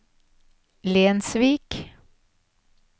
Lensvik